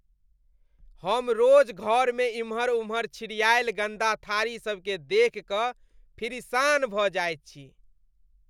हम रोज घर में इम्हर उम्हर छिड़िआयल गन्दा थारी सब देखि कऽ फिरिसान भऽ जाइत छी।